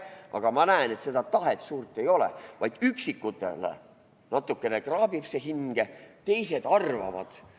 Aga ma näen, et seda tahet suurt ei ole, vaid üksikutel natukene kraabib see hinge, teised arvavad.